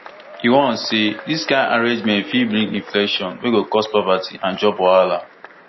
e warn say dis kind arrangement fit bring inflation wey go cause poverty and job wahala